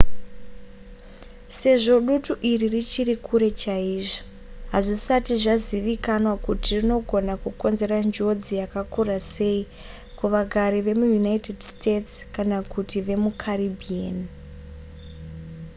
sezvo dutu iri richiri kure chaizvo hazvisati zvazivikanwa kuti rinogona kukonzera njodzi yakakura sei kuvagari vemuunited states kana kuti vemucaribbean